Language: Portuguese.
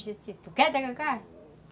Tu quer tacacá?